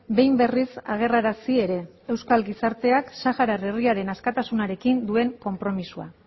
behin berriz agerrarazi ere euskal gizarteak saharar herriaren askatasunarekin duen konpromisoa